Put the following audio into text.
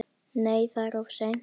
Nei, það er of seint.